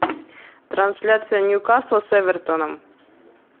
трансляция ньюкасл с эвертоном